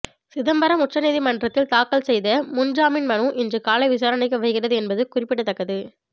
சிதம்பரம் உச்சநீதிமன்றத்தில் தாக்கல் செய்த முன் ஜாமீன் மனு இன்று காலை விசாரணைக்கு வருகிறது என்பது குறிப்பிடத்தக்கது